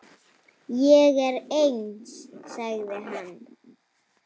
Ég er eins, sagði hann.